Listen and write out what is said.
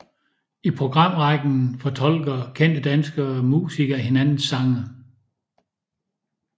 I programrækken fortolker kendte danske musikere hinandens sange